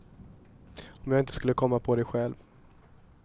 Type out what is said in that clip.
Om jag inte skulle komma på det själv.